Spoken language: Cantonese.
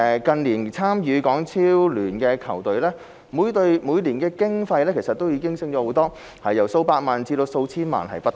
近年參與港超聯的球隊，每隊每年經費不斷上升，由數百萬元至數千萬元不等。